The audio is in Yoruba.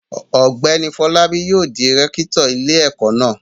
Ọ̀gbẹ́ni Fọlábí yóò di rẹ́kítọ̀ ilé-ẹ̀kọ́ náà.